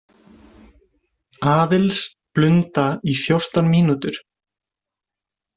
Aðils, blunda í fjórtán mínútur.